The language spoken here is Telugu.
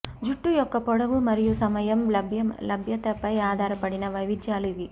జుట్టు యొక్క పొడవు మరియు సమయం లభ్యతపై ఆధారపడిన వైవిధ్యాలు ఇవి